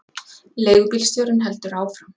Leigubílstjórinn heldur áfram.